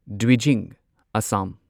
Dwijing Assam